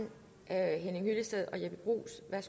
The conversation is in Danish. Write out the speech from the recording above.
er en